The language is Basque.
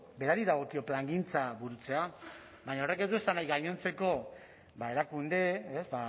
berari dagokio plangintza burutzea baina horrek ez du esan nahi gainontzeko ba erakunde ez